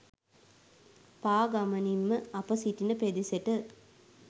පාගමනින් ම අප සිටින පෙදෙසට